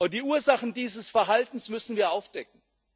Die Ursachen dieses Verhaltens müssen wir aufdecken.